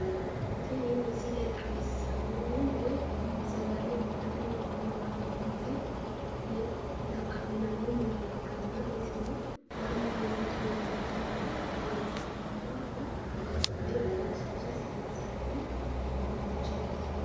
Tini misile xawissannohu woyi sagale itate woy buna xaqqa'mate xaqqa'minanni mine ikkanna isino mannu mimmitu mimmituyiiwa egennamannowa woyi babbaxxewo egenshiishsha saayinsanni baayiichooti.